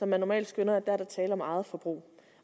man normalt skønner der er tale om eget forbrug